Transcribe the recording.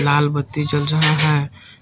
लाल बत्ती जल रहा है।